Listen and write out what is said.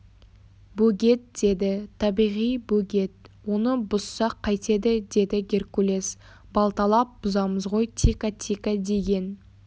бөгет деді табиғи бөгет оны бұзсақ қайтеді деді геркулес балталап бұзамыз ғой тикатика деген